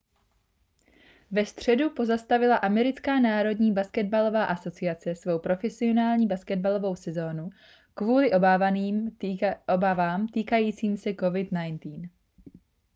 ve středu pozastavila americká národní basketbalová asociace svou profesionální basketbalovou sezonu kvůli obávám týkajícím se covid-19